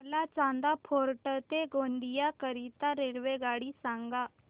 मला चांदा फोर्ट ते गोंदिया करीता रेल्वेगाडी सांगा